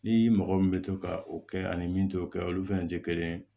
Ni mɔgɔ min bɛ to ka o kɛ ani min t'o kɛ olu fɛnɛ tɛ kelen ye